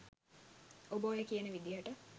ඔබ ඔය කියන විදිහට